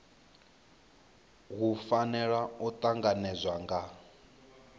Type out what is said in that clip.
hu fanela u tanganedzwa nga